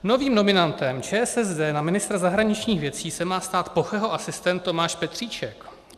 Novým nominantem ČSSD na ministra zahraničních věcí se má stát Pocheho asistent Tomáš Petříček.